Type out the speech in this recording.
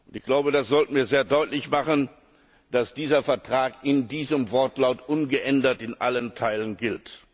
Ich glaube, das sollten wir sehr deutlich machen, dass dieser Vertrag in diesem Wortlaut ungeändert in allen Teilen gilt.